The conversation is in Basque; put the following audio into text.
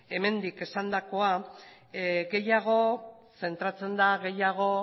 hemendik esandakoa gehiago zentratzen da gehiago